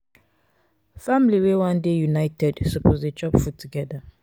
family wey wan dey united suppose dey chop food togeda.